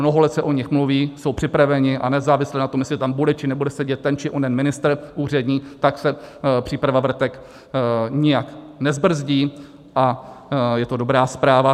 Mnoho let se o nich mluví, jsou připraveny a nezávisle na tom, jestli tam bude či nebude sedět ten či onen ministr úřední, tak se příprava vrtek nijak nezbrzdí a je to dobrá zpráva.